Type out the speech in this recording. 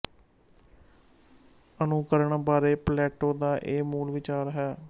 ਅਨੁੁਕਰਣ ਬਾਰੇ ਪਲੈੈਟੋ ਦਾ ਇਹ ਮੂਲ ਵਿਚਾਰ ਹੈ